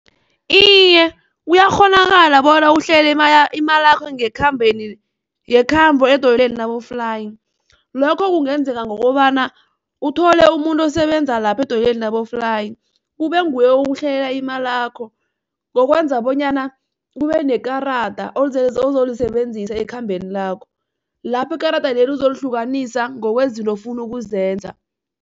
Iye, kuyakghonakala bona uhlele imalakho ngekhambo edoyelweni laboflayi, lokho kungenzeka ngokobana uthole umuntu osebenza lapho edoyelweni laboflayi kube nguye okuhlelela imalakho ngokwenza bonyana kubenekarada ozolisebenzisa ekhambeni lakho lapho ikarada leli uzolihlukanisa ngokwezinto ofuna ukuzenza.